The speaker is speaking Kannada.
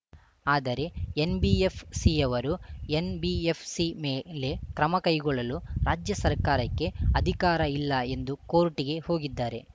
ಆದರೆ ಎನ್‌ಬಿಎಫ್‌ಸಿಯವರು ಎನ್‌ಬಿಎಫ್‌ಸಿ ಮೇಲೆ ಕ್ರಮ ಕೈಗೊಳ್ಳಲು ರಾಜ್ಯ ಸರ್ಕಾರಕ್ಕೆ ಅಧಿಕಾರ ಇಲ್ಲ ಎಂದು ಕೋರ್ಟ್‌ಗೆ ಹೋಗಿದ್ದಾರೆ